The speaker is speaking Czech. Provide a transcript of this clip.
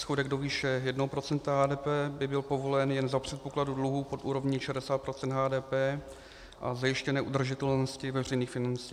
Schodek do výše 1 % HDP by byl povolen jen za předpokladu dluhu pod úrovní 60 % HDP a zajištěné udržitelnosti veřejných financí.